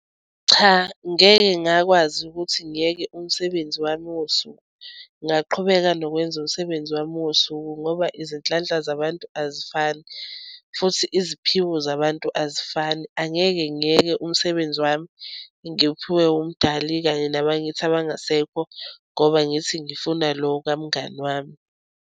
Cha ngeke ngakwazi ukuthi ngiyeke umsebenzi wami wosuku. Ngingaqhubeka nokwenza umsebenzi wami wosuku, ngoba izinhlanhla zabantu azifani futhi iziphiwo zabantu azifani. Angeke ngiyeke umsebenzi wami enguphiwe umdali kanye nabakithi abangasekho ngoba ngithi ngifuna lo kamngani wami.